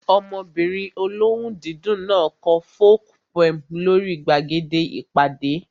Ọmọbìnrin olóhùn dídùn náà kọ folk poem lórí gbàgede ìpàdé